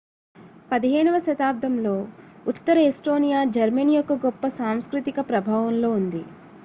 15 వ శతాబ్దంలో ఉత్తర ఎస్టోనియా జర్మనీ యొక్క గొప్ప సాంస్కృతిక ప్రభావంలో ఉంది